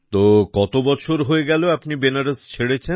তো কত বছর হয়ে গেল আপনি বেনারস ছেড়েছেন